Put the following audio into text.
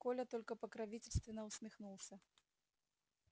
коля только покровительственно усмехнулся